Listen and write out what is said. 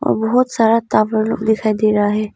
बहुत सारा टावर लोग दिखाई दे रहा है।